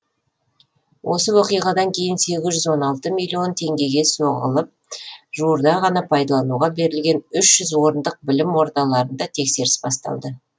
осы оқиғадан кейін сегіз жүз он алты миллион теңгеге соғылып жуырда ғана пайдалануға берілген үш жүз орындық білім ордаларында тексеріс басталды